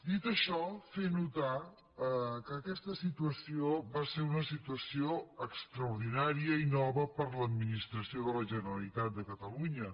dit això fer notar que aquesta situació va ser una situació extraordinària i nova per a l’administració de la generalitat de catalunya